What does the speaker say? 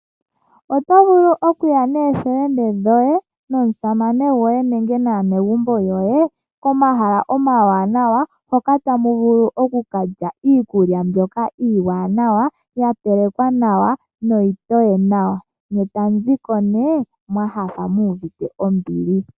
Oto vulu okuya nookuume koye, omusamane goye nenge naanegumbo lyoye komahala omawanawa hoka tamu vulu okukalya iikulya mbyoka iiwanawa, ya telekwa nawa niitoye nawa. Ne eta mu ziko nee mwa nyanyukwa mu uvite ombili.